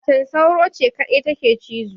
Macen sauro ce kadai take cizo